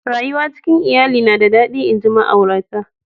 Rayuwa cikin lyalli na da dadi nji ma'aurata.